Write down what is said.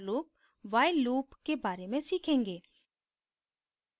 for loop while loop के बारे में सीखेंगे